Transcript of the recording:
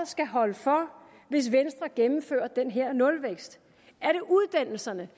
skal holde for hvis venstre gennemfører den her nulvækst er det uddannelserne